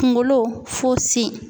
Kunkolo fo sen.